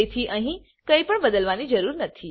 તેથી અહી કઈ પણ બદલવાની જરૂર નથી